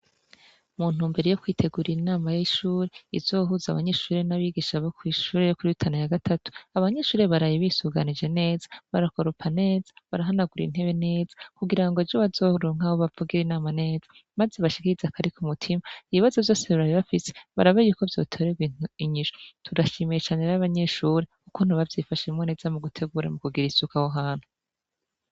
Mu ntumbero yo kwitegurira inama y'ishuri izohuza abanyeshuri n'abigisha bo kwishure yo kuri Rutana ya Gatatu, abanyeshure baraye bisuganije neza bakoropa neza barahanagura intebe neza, kugira ejo bazoronke aho bavugira inama neza; maze bashikirize akari ku mutima, ibibazo vyose bari bafitse barabe yuko vyotorerwa inyishu. Turashimiye cane rero abanyeshure ukuntu bavyifashemwo neza mu gutegura, mu kugira isuku aho hantu.